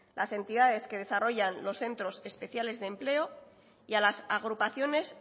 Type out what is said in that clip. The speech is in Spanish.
las entidades que desarrollan los centros especiales de empleo y a las agrupaciones